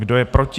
Kdo je proti?